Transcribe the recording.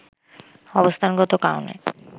অবস্থানগত কারণে